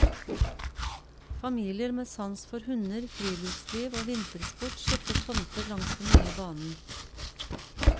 Familier med sans for hunder, friluftsliv og vintersport kjøpte tomter langs den nye banen.